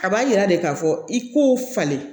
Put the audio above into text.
A b'a yira de k'a fɔ i k'o falen